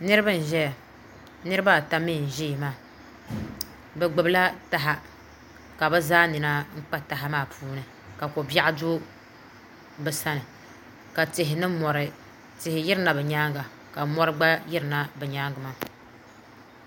niriba n-zaya niriba ata mi n-zaya maa bɛ gbubila taha ka bɛ zaa nina kpa taha maa puuni ka ko'b́iɛɣu do bɛ sani ka tihi ni mɔri tih yirina bɛ nyaaŋa ka mɔri gba yirina bɛ nyaaŋa maa